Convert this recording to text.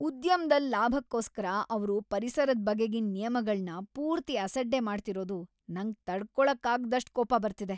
ಉದ್ಯಮ್ದಲ್ ಲಾಭಕ್ಕೋಸ್ಕರ ಅವ್ರು ಪರಿಸರದ್‌ ಬಗೆಗಿನ್‌ ನಿಯಮಗಳ್ನ ಪೂರ್ತಿ ಅಸಡ್ಡೆ ಮಾಡ್ತಿರೋದು ನಂಗ್‌ ತಡ್ಕೊಳಕ್ಕಾಗ್ದಷ್ಟ್ ಕೋಪ‌ ಬರ್ತಿದೆ.